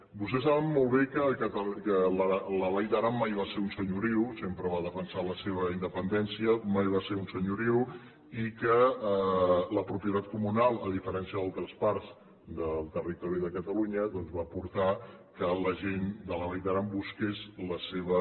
vostès saben molt bé que la vall d’aran mai va ser un senyoriu sempre va defensar la seva independència mai va ser un senyoriu i que la propietat comunal a diferència d’altres parts del territori de catalunya doncs va portar que la gent de la vall d’aran busqués la seva